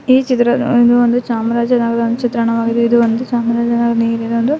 ಈ ಚಿತ್ರದಲ್ಲಿ ಇದು ಒಂದು ಚಾಮರಾಜನಗರ ಚಿತ್ರಣವಾಗಿದೆ ಚಾಮರಾಜನಗರದ ಒಂದು --